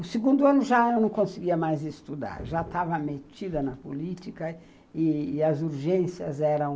O segundo ano já eu não conseguia mais estudar, já estava metida na política e as urgências eram